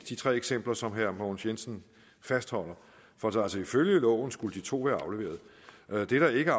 de tre eksempler som herre mogens jensen fastholder for altså ifølge loven skulle de to være afleveret det der ikke